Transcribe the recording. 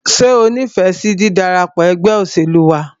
Ṣé o nífẹsí dídarapọ̀ ẹgbẹ́ òṣèlú wa?